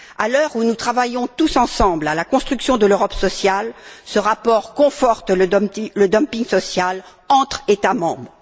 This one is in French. À l'heure où nous travaillons tous ensemble à la construction de l'Europe sociale, ce rapport conforte le dumping social entre États membres.